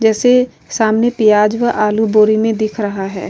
जैसे सामने प्याज व आलू बोरी में दिख रहा है।